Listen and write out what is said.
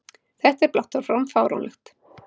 Þetta er blátt áfram fáránlegt!